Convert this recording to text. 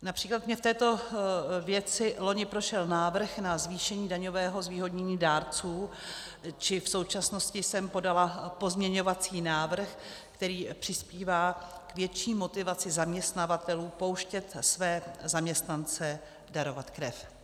Například mi v této věci loni prošel návrh na zvýšení daňového zvýhodnění dárců, či v současnosti jsem podala pozměňovací návrh, který přispívá k větší motivaci zaměstnavatelů pouštět své zaměstnance darovat krev.